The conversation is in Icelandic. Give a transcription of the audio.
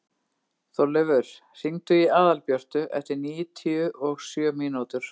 Þorleifur, hringdu í Aðalbjörtu eftir níutíu og sjö mínútur.